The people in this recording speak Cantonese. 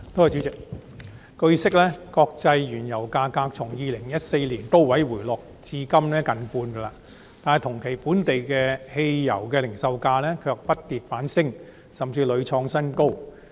主席，據報，國際原油價格從2014年高位回落至今近半，但同期本地汽油零售價卻不跌反升，甚至屢創新高。